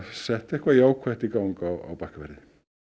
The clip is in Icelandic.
sett eitthvað jákvætt í gang á Bakkafirði